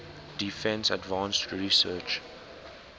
defense advanced research